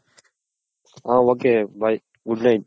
ಹ okay bye Good Night.